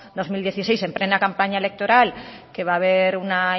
dos mil dieciséis en plena campaña electoral que va a ver una